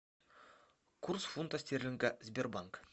курс фунта стерлинга сбербанк